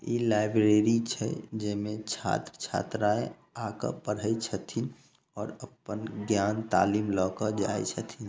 इ लाइब्रेरी छै जेमे छात्र-छात्राएं आ के पढ़य छथिन और अपन ज्ञान तालीम ल के जाय छथिन।